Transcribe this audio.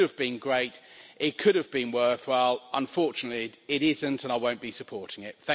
It could have been great, it could have been worthwhile. Unfortunately, it isn't, and I won't be supporting it.